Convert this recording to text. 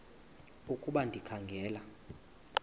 ukuba ndikha ngela